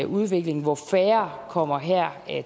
udvikling hvor færre kommer her